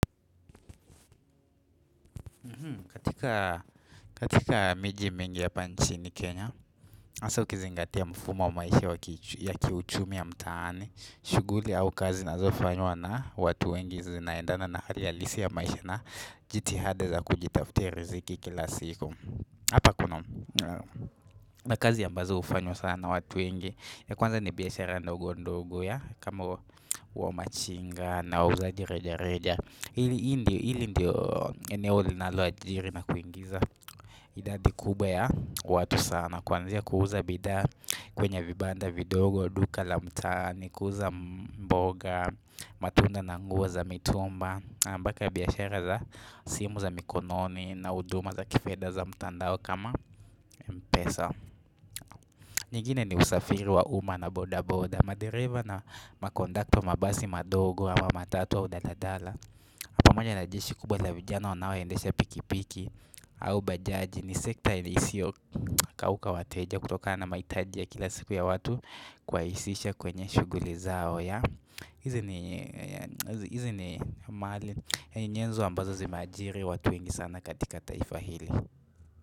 Katika miji mingi hapa nchini Kenya, hasa ukizingatia mfumo wa maisha ya kiuchumi ya mtaani, shughuli au kazi zinazo fanywa na watu wengi zinaendana na hali ya lisi ya maisha na jithada za kujitaftia riziki kila siku. Hapa kuna na kazi ambazo hufanywa sana na watu wengi ya kwanza ni biashara ndogo ndogo ya kama wa machinga na wauzaji reja reja hili ndio hili ndio eneo linalo ajiri na kuingiza idadi kubwa ya watu sana kwanzia ya kuuza bidhaa kwenye vibanda vidogo duka la mtaani kuuza mboga matunda na nguo za mitumba mbaka biashara za simu za mikononi na huduma za kifedha za mtandao kama Mpesa. Nyingine ni usafiri wa uma na boda boda. Madereva na makondakta wa mabasi madogo ama wa matatu au daladala pamoja na jeshi kubwa la vijana wanaoendesha pikipiki au bajaji ni sekta nisio kauka wateja kutokana na mahitaji ya kila siku ya watu kuwahisisha kwenye shughuli zao hizi ni hizi ni mali ni nyenzo ambazo zimeajiri watu wengi sana katika taifa hili.